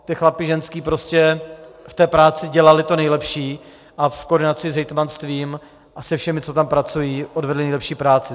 Ty chlapi, ženský prostě v té práci dělali to nejlepší a v koordinaci s hejtmanstvím a se všemi, co tam pracují, odvedli nejlepší práci.